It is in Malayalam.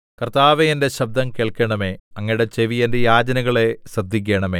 കർത്താവേ എന്റെ ശബ്ദം കേൾക്കണമേ അങ്ങയുടെ ചെവി എന്റെ യാചനകളെ ശ്രദ്ധിക്കണമേ